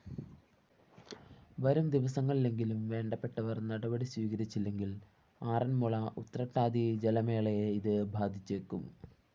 വരുംദിവസങ്ങളിലെങ്കിലും വേണ്ടപെട്ടവര്‍ നടപടി സ്വീകരിച്ചില്ലെങ്കില്‍ ആറന്മുള ഉതൃട്ടാതിജലമേളയെ ഇത് ബാധിച്ചേക്കും